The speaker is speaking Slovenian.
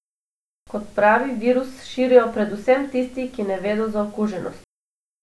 Kot pravi, virus širijo predvsem tisti, ki ne vedo za okuženost.